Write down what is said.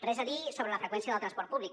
res a dir sobre la freqüència del transport públic